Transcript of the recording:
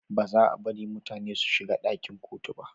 Ba za a bari mutane su shiga dakin kotu ba